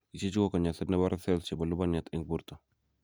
Ichechu ko konyoiset nebore cell chebo lubaniat eng borto.